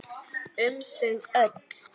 Um þau öll.